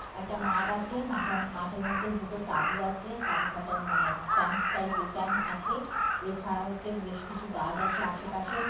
একটা মাঠ আছে। মাঠের মাঠ এর মধ্যে দুটো তাবু আছে। তাবু খাটানো মানে ক্যাম্প টাইপ এর ক্যাম্প আছে। এছাড়াও হচ্ছে বেশ কিছু গাজ আছে আসে পাশে--